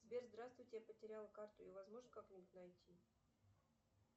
сбер здравствуйте я потеряла карту ее возможно как нибудь найти